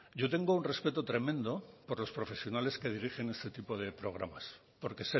yo tengo un respeto tremendo por los profesionales que dirigen este tipo de programas porque